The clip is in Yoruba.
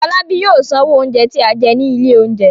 Fọlábí yóò sanwó oúnjẹ tí a jẹ ní ilé-oúnjẹ.